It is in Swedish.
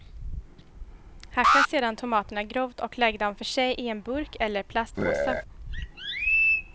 Hacka sedan tomaterna grovt och lägg dem för sig i en burk eller plastpåse.